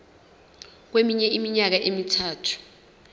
kweminye iminyaka emithathu